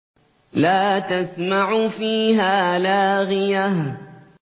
لَّا تَسْمَعُ فِيهَا لَاغِيَةً